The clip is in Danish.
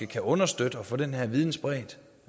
kan understøtte at få den her viden spredt